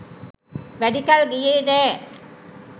වැඩි කල් ගියේ නෑ.